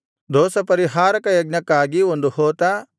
ದೋಷಪರಿಹಾರಕ ಯಜ್ಞಕ್ಕಾಗಿ ಒಂದು ಹೋತ